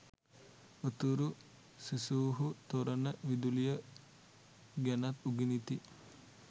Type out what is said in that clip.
උතුරු සිසුහු තොරණ විදුලිය ගැනත් උගනිති